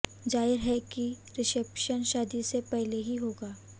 जाहिर है कि रिसैप्शन शादी से पहले ही होगा